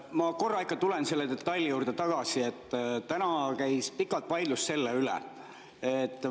Ma korra ikka tulen selle detaili juurde tagasi, mille üle täna pikalt vaidlus käis.